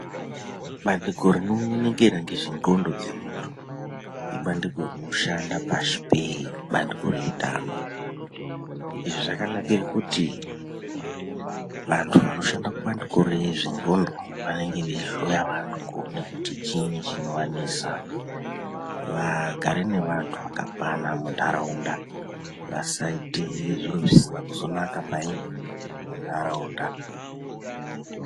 Bandiko rinoonekera ngezvendxondo dzemundu ibandiko rinoshanda pashi pee banduko reutano izvi zvakanakire kuti vandu vandoshanda kubandiko rezvendxndo vanenge veyihloya vandu nekuti chiini chinovanetsa vagare nevandu vakakwana mundaraunda vasaite zviro zvisina kuzonaka payini mundaraunda.